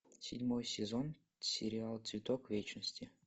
седьмой сезон сериала цветок вечности